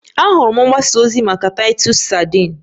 Ahụrụ m mgbasa ozi maka Titus sadin